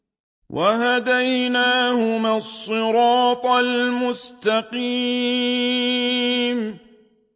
وَهَدَيْنَاهُمَا الصِّرَاطَ الْمُسْتَقِيمَ